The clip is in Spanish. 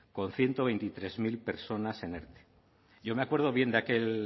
con ciento veintitrés mil personas en erte yo me acuerdo bien